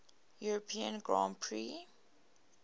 european grand prix